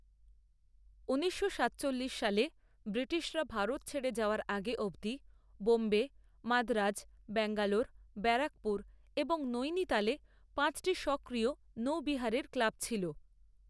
ঊনিশশো সাতচল্লিশ সালে ব্রিটিশরা ভারত ছেড়ে যাওয়ার আগে অবধি বোম্বে, মাদ্রাজ, ব্যাঙ্গালোর, ব্যারাকপুর এবং নৈনিতালে পাঁচটি সক্রিয় নৌবিহারের ক্লাব ছিল।